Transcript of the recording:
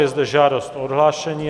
Je zde žádost o odhlášení.